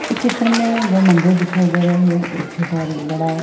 इ चित्र में दो मंदिर दिखाई दे रहे है एक छोटा और एक बड़ा।